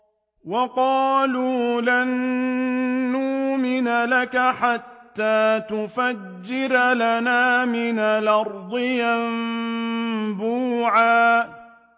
وَقَالُوا لَن نُّؤْمِنَ لَكَ حَتَّىٰ تَفْجُرَ لَنَا مِنَ الْأَرْضِ يَنبُوعًا